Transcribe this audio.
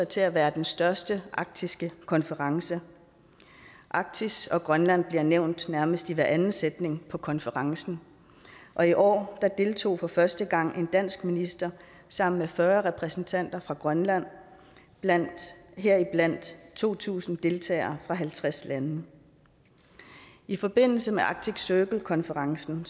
til at være den største arktiske konference arktis og grønland bliver nævnt næsten hver anden sætning på konferencen og i år deltog for første gang en dansk minister sammen med fyrre repræsentanter for grønland blandt blandt to tusind deltagere fra halvtreds lande i forbindelse med arctic circle konferencen